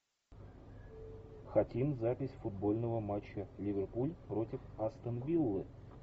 хотим запись футбольного матча ливерпуль против астон виллы